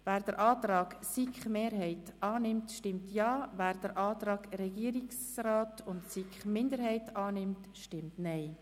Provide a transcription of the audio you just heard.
Wer den Antrag der SiK-Mehrheit annimmt, stimmt Ja, wer den Antrag Regierungsrat/SiKMinderheit bevorzugt, stimmt Nein.